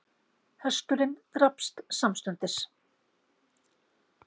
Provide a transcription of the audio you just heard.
Hesturinn drapst samstundis